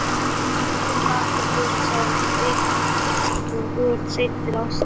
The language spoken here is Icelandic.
Tíminn líður hratt og þú ert sein til ásta.